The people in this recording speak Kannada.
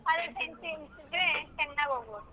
ಇದ್ರೆ ಚೆನ್ನಾಗ್ ಹೋಗ್ಬೋದು.